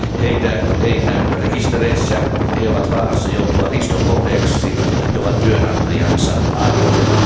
Heitä ei näy rekistereissä, he ovat vaarassa joutua riiston kohteeksi, he ovat työnantajansa armoilla.